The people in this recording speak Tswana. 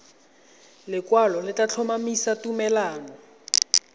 lekwalo le tla tlhomamisa tumalano